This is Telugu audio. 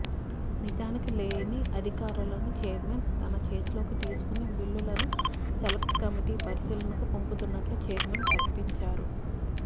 నిజానికి లేని అధికారాలను ఛైర్మన్ తన చేతిలోకి తీసుకుని బిల్లులను సెలక్ట్ కమిటి పరిశీలనకు పంపుతున్నట్లు ఛైర్మన్ ప్రకటించేశారు